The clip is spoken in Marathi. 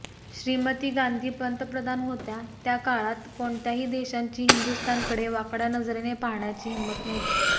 श्रीमती गांधी पंतप्रधान होत्या त्या काळात कोणत्याही देशाची हिंदुस्थानकडे वाकड्या नजरेने पाहण्याची हिंमत नव्हती